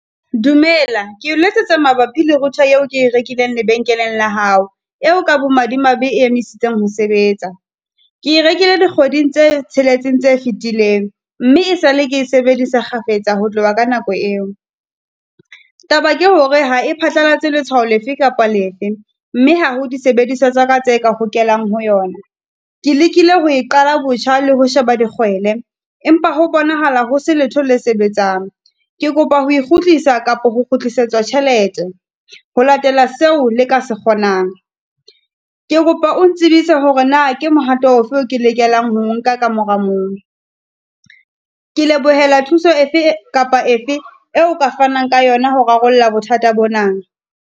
Dumela ke o letsetsa mabapi le router eo ke rekileng lebenkeleng la hao, eo ka bo madimabe e emisitseng ho sebetsa. Ke e rekile dikgweding tse tsheletseng tse fitileng mme, e sale ke sebedisa kgafetsa ho tloha ka nako eo. Taba ke hore ha e phatlalatse letshwao lefe kapa lefe, mme ha ho disebediswa tsa ka tse ka hokelang ho yona. Ke lekile ho e qala botjha le ho sheba digwele empa ho bonahala ho se letho le sebetsang. Ke kopa ho kgutlisa kapo ho kgutlisetswa tjhelete, ho latela seo le ka se kgonang. Ke kopa o ntsebise hore na ke mohato ofe eo ke lokelang ho o nka ka mora mong. Ke lebohela thuso efe kapa efe e o ka fanang ka yona ho rarolla bothata bona.